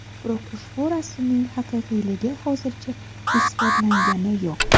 Biroq ushu rasmning haqiqiyligi hozircha isbotlangani yo‘q.